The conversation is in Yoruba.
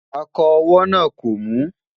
akọ owó nà kò mu